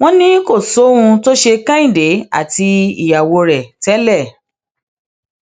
wọn ni kò sóhun tó ṣe kẹ́hìndé àti ìyàwó rẹ tẹlẹ